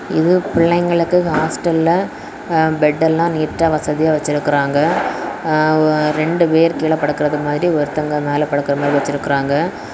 இது பிள்ளைங்களுக்கு ஹாஸ்டல்ல பெட் எல்லாம் நீட்டா வசதியா வச்சியிருக்காங்க இரண்டு பேர் கீழே படுக்கிறது மாதிரி ஒருத்தவங்க மேல படுக்கிர மாதிரி வச்சிருக்காங்க.